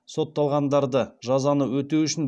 сотталғандарды жазаны өтеу үшін